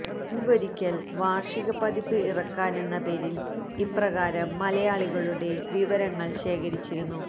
മുന്പൊരിക്കല് വാര്ഷിക പതിപ്പ് ഇറക്കാനെന്ന പേരില് ഇപ്രകാരം മലയാളികളുടെ വിവരങ്ങള് ശേഖരിച്ചിരുന്നു